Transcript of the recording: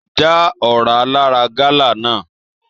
Já ọra lara gala náà!